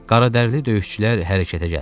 Qaradərili döyüşçülər hərəkətə gəldilər.